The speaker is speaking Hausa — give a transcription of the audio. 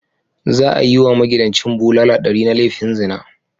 Za a yi wa magidancin bulala ɗari na laifin zina.